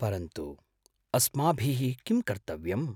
परन्तु, अस्माभिः किं कर्तव्यम् ?